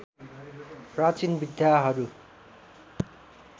प्राचीन विधाहरू